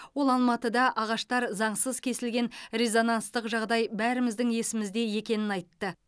ол алматыда ағаштар заңсыз кесілген резонанстық жағдай бәріміздің есімізде екенін айтты